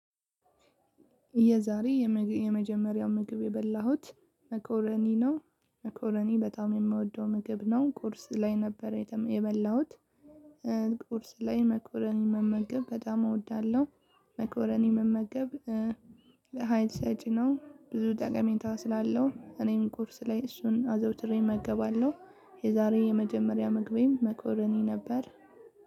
የዛሬ የመጀመሪያው ምግብ የበላሁት መኮረኒ ነው መኮረኒ በጣም የምወደው ምግብ ነው። ቁርስ ላይ ነበረ የበላሁት እ ቁርስ ላይ መኮረኒ መመገብ በጣም እወዳለሁ። መኮረኒ መመገብ እ ሀይል ሰጪ ነው ብዙ ጠቀሜታ ስላለው እኔም ቁርስ ላይ አዘውትሬ እመገባለሁ። የዛሬ የመጀመሪያ ምግቤም መኮረኒ ነበር።